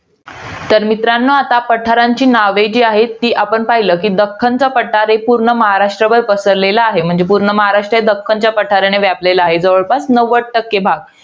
तर मित्रांनो, आता पाठरांची नावे जी आहेत, ती आपण पाहिलं. कि, दख्खनचा पठार हे पूर्ण महाराष्ट्रभर पसरलेलं आहे. म्हणजे, पूर्ण महाराष्ट्र हे दख्खनच्या पठाराने व्यापलेलं आहे. जवळपास नव्वद टक्के भाग.